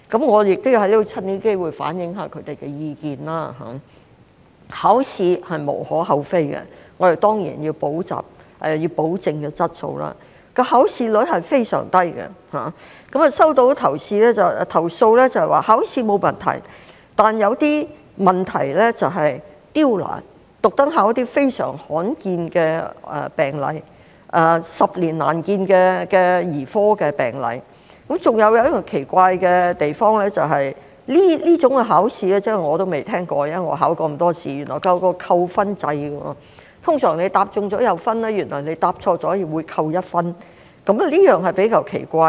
我亦藉此機會反映他們的意見，考試是無可厚非的，我們當然要保證質素，考試率是非常低，收到的投訴指考試沒有問題，但有些試題就是刁難，刻意考一些非常罕見的病例，十年難見的兒科病例，還有一個奇怪的地方，就是這種考試——我都未聽過，即使我考過這麼多考試——原來設有一個扣分制，通常答中會有分，但原來答錯也會扣1分，這點比較奇怪。